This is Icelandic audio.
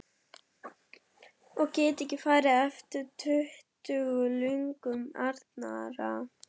Og get ekki farið eftir duttlungum annarra.